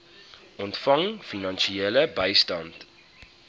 ontvang finansiële bystand